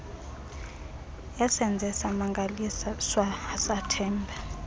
esenze samangaliswa asathemba